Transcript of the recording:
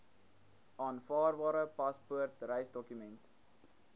aanvaarbare paspoort reisdokument